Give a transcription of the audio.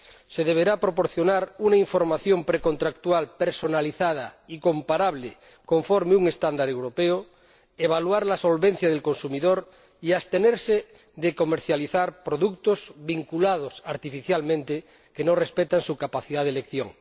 Se deberá proporcionar una información precontractual personalizada y comparable conforme a un estándar europeo, evaluar la solvencia del consumidor y abstenerse de comercializar productos vinculados artificialmente, que no respetan su capacidad de elección.